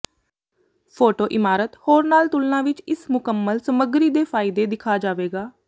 photo ਇਮਾਰਤ ਹੋਰ ਨਾਲ ਤੁਲਨਾ ਵਿਚ ਇਸ ਮੁਕੰਮਲ ਸਮੱਗਰੀ ਦੇ ਫਾਇਦੇ ਦਿਖਾ ਜਾਵੇਗਾ